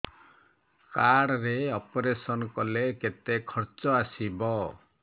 card ରେ operation କଲେ କେତେ ଖର୍ଚ ଆସିବ